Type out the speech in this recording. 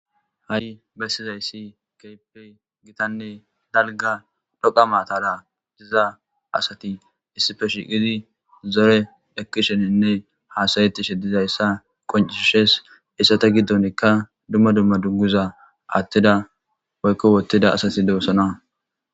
Hay besidayisi kehipe daliga dhoqa matara dida assati issipe shiqidi zorenne hasayetishe dizayissa qoncisesi hesata gidonika duma duma dunguza athida woyiko wothida assati dosona